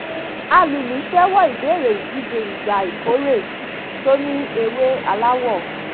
alùlù ṣẹ́wọ́ ìbẹ̀rẹ̀ ìdìje ìgbà ìkórè tó ní ewé aláwọ̀